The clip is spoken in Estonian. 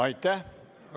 Aitäh!